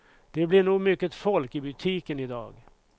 Det blir nog mycket folk i butiken i dag.